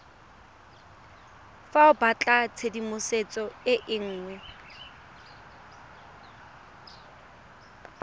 fa o batlatshedimosetso e nngwe